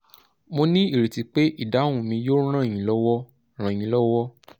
mo ní ìrètí pé ìdáhùn mi yóò ràn yín lọ́wọ́ ràn yín lọ́wọ́